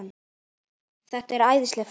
Þetta var æðisleg ferð.